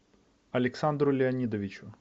александру леонидовичу